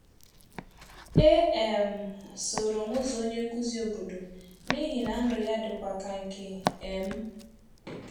E um soro m ụzọ onye nkuzi obodo, n’ihi na ndụ ya dịkwa ka nke um m.